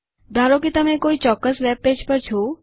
ધારો કે તમે કોઈ ચોક્કસ વેબપેજ પર છો